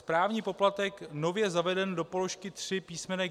Správní poplatek nově zavedený do položky 3 písm.